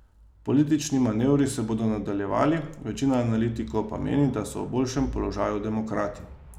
Politični manevri se bodo nadaljevali, večina analitikov pa meni, da so v boljšem položaju demokrati.